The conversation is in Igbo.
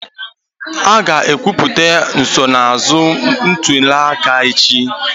A ga-ekwupụta nsonaazụ ntuli aka echi.